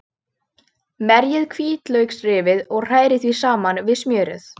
Merjið hvítlauksrifið og hrærið því saman við smjörið.